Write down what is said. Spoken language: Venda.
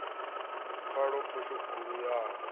pfala phosho khulu ya u